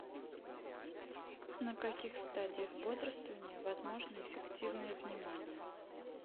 на каких стадиях бодрствования возможно эффективное внимание